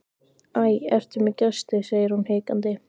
Æ, ertu með gesti, segir hún hikandi.